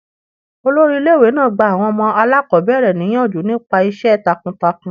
Olórí ilé ìwé náà gba àwọn ọmọ aláàkọ́bẹ̀rẹ̀ níyànjú nípa iṣẹ́ takun takun.